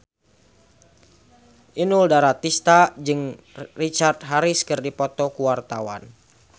Inul Daratista jeung Richard Harris keur dipoto ku wartawan